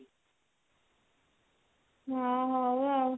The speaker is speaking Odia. ହଁ ହଉ ଆଉ